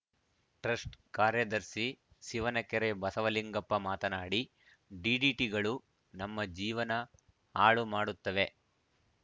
trust ಕಾರ್ಯದರ್ಶಿ ಶಿವನಕೆರೆ ಬಸವಲಿಂಗಪ್ಪ ಮಾತನಾಡಿ ಡಿಡಿಟಿಗಳು ನಮ್ಮ ಜೀವನ ಹಾಳು ಮಾಡುತ್ತಾವೆ